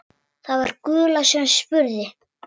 Það var Gulla sem spurði.